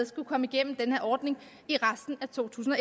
skal komme igennem den her ordning i resten af to tusind og